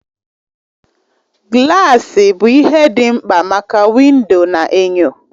Gilasi bụ ihe ndị mkpa maka windo na enyo